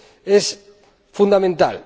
es fundamental.